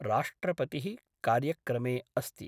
राष्ट्रपति: कार्यक्रमे अस्ति